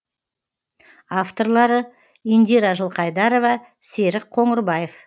авторлары индира жылқайдарова серік қоңырбаев